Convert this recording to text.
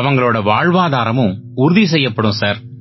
அவங்களோட வாழ்வாதாரமும் உறுதி செய்யப்படும் சார்